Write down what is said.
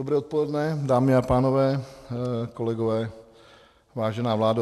Dobré odpoledne, dámy a pánové, kolegové, vážená vládo.